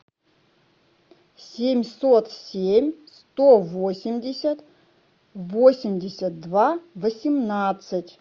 семьсот семь сто восемьдесят восемьдесят два восемнадцать